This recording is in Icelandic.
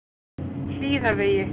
Hlíðavegi